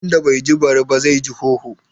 Wanda bai ji bari ba, zai ji hoho.